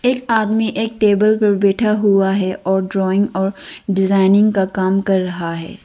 आदमी एक टेबल पर बैठा हुआ है और ड्राइंग और डिजाइनिंग का काम कर रहा है।